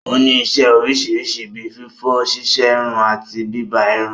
Ó ní isẹ́ oríṣiríṣi bí fífọ̀, ṣíṣerun àti bíbá irun.